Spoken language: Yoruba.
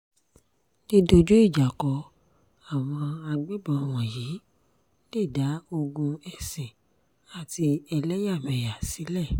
dídójú ìjà kó àwọn agbébọn wọ̀nyí lè dá ogún ẹ̀sìn àti ẹlẹ́yàmẹ̀yà sílẹ̀